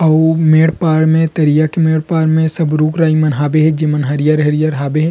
अऊ मेड़ पार में तरिया के मेड़ पार में सब रुख राई मन हाबे हे जेमन हरिहर-हरिहर हाबे हे ।